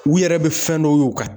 U yɛrɛ bɛ fɛn dɔw y'u ka